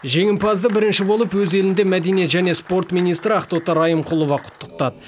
жеңімпазды бірінші болып өз елінде мәдениет және спорт министрі ақтоты райымқұлова құттықтады